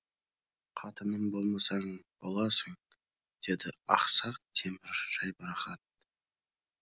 қатыным болмасаң боласың деді ақсақ темір жайбарақат